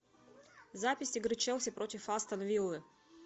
запись игры челси против астон виллы